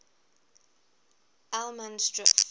allemansdrift